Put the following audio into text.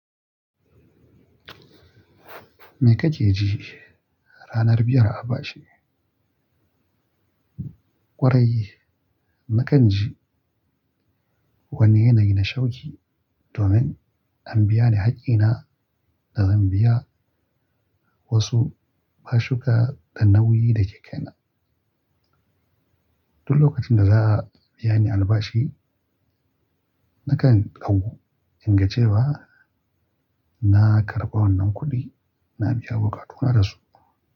Me kake ji ranar biyar a bashi? Kwarai, nakan ji wani yanayi na shawƙi domin an biya ni haƙƙina da zan biya wasu, basuka da nauyi da ke kaina. Duk lokacin da za a biya ni albashi, nakan kagu in ga cewa na karɓa wannan kuɗi, na biya bukatuna da su.